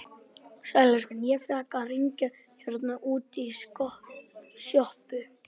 Sæll elskan, ég fékk að hringja hérna útí sjoppu.